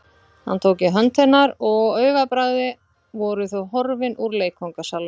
Hann tók í hönd hennar og á augabragði voru þau horfin úr leikfangasalnum.